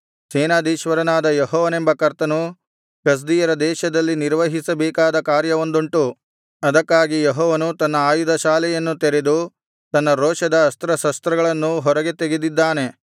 ಸೇನಾಧೀಶ್ವರನಾದ ಯೆಹೋವನೆಂಬ ಕರ್ತನು ಕಸ್ದೀಯರ ದೇಶದಲ್ಲಿ ನಿರ್ವಹಿಸಬೇಕಾದ ಕಾರ್ಯವೊಂದುಂಟು ಅದಕ್ಕಾಗಿ ಯೆಹೋವನು ತನ್ನ ಆಯುಧ ಶಾಲೆಯನ್ನು ತೆರೆದು ತನ್ನ ರೋಷದ ಅಸ್ತ್ರಶಸ್ತ್ರಗಳನ್ನು ಹೊರಗೆ ತೆಗೆದಿದ್ದಾನೆ